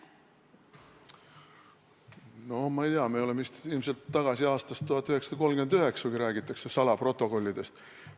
No ma ei tea, me oleme vist ilmselt tagasi aastas 1939, kui räägitakse salaprotokollidest.